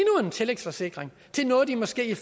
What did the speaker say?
tillægsforsikring til noget de måske i